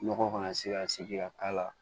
Nɔgɔ kana se ka sigi ka k'a la